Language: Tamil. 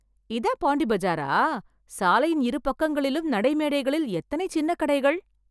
இதான் பாண்டி பஜாரா... சாலையின் இரு பக்கங்களிலும் நடைமேடைகளில், எத்தனை சின்ன கடைகள்...